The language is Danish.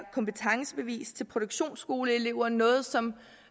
kompetencebevis til produktionsskoleelever noget som